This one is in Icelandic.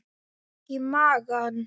Ég fékk í magann.